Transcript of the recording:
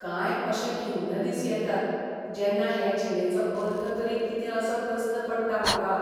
कांय अशे खिन्न दिस येतात जेन्ना हे जिणेचो अर्थ तरी कितें असो प्रस्न पडटा म्हाका.